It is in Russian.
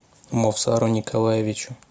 мовсару николаевичу